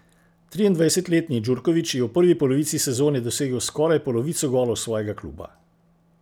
Triindvajsetletni Djurković je v prvi polovici sezone dosegel skoraj polovico golov svojega kluba.